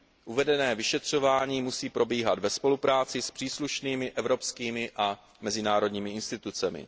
Uvedené vyšetřování musí probíhat ve spolupráci s příslušnými evropskými a mezinárodními institucemi.